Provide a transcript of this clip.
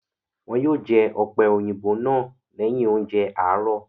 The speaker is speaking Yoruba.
Wọn yóò jẹ ọ̀pẹ́-òyìnbó náà lẹ́yìn oúnjẹ àárọ̀.